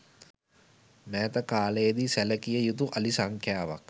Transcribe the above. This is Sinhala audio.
මෑත කාලයේදී සැලකිය යුතු අලි සංඛ්‍යාවක්